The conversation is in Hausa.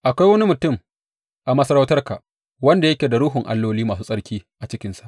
Akwai wani mutum a masarautarka wanda yake da ruhun alloli masu tsarki a cikinsa.